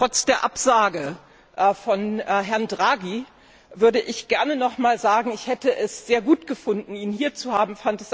Trotz der Absage von Herrn Draghi würde ich gerne noch einmal sagen, ich hätte es sehr gut gefunden, ihn hier zu haben.